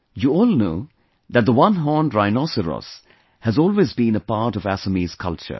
You all know that the one horned rhinoceros has always been a part of Assamese culture